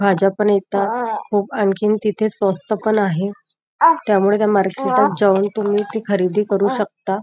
भाज्या पण इथ खूप आणखीन तिथे स्वस्त पण आहे त्यामुळे त्या मार्केटात जाऊन ती खरेदी करू शकता.